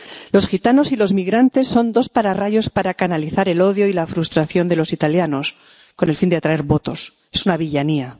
Los gitanos y los migrantes son dos pararrayos para canalizar el odio y la frustración de los italianos con el fin de atraer votos. Es una villanía.